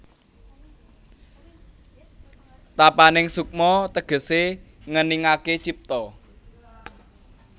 Tapaning sukma tegesé ngeningaké cipta